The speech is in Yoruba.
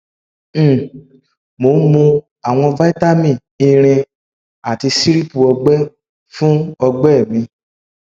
um mo ń mu àwọn vitamin irin àti sírupu ọgbẹ fún ọgbẹ mi